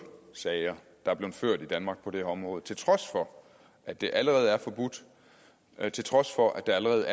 sager i danmark på det her område til trods for at det allerede er forbudt til trods for at der allerede